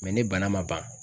ni bana ma ban.